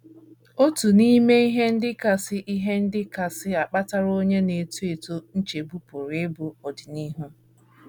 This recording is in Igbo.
“ Otu n’ime ihe ndị kasị ihe ndị kasị akpatara onye na - eto eto nchegbu pụrụ ịbụ ọdịnihu.